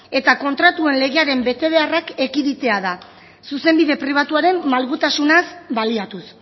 eta kontratuen legearen beharrak ekiditea da zuzenbide pribatuaren malgutasunaz baliatuz